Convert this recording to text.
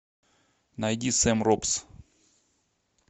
найди сэм робс